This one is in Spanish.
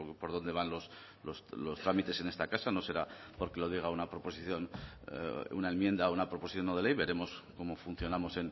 por dónde van los trámites en esta casa no será porque lo diga una proposición una enmienda a una proposición no de ley veremos cómo funcionamos